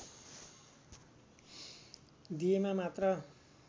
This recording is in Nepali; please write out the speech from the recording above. दिएमा मात्र